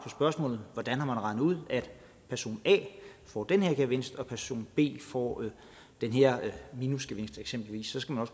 spørgsmål om hvordan man har regnet ud at person a får den her gevinst og person b får den her minusgevinst eksempelvis så skal man